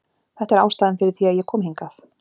Þetta er ástæðan fyrir því að ég kom hingað.